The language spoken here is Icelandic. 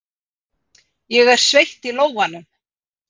Ég er sveitt í lófanum.